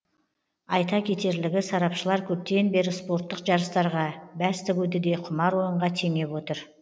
айта кетерлігі сарапшылар көптен бері спорттық жарыстарға бәс тігуді де құмар ойынға теңеп отыр